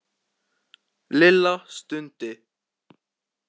Lilla stundi.